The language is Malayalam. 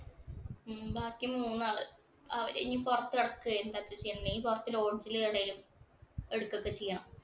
ഉം ബാക്കി മൂന്നാള് ഇനി അവര് ഇനി പൊറത്ത് കിടക്കുകയോ പിന്നെ പുറത്ത് lodge ഇല് എവിടേലും എടുക്ക ഒക്കെ ചെയ്യാം.